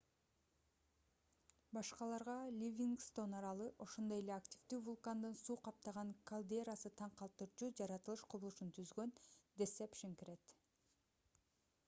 башкаларга ливингстон аралы ошондой эле активдүү вулкандын суу каптаган кальдерасы таң калтырчу жаратылыш кубулушун түзгөн десепшн кирет